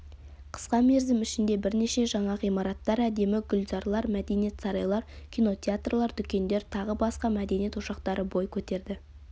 қысқа мерзім ішінде бірнеше жаңа ғимараттар әдемі гүлзарлар мәдениет сарайлары кинотеатрлар дүкендер тағы басқа мәдениет ошақтары бой көтерді